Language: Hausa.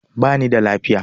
Ba ni da lafiya.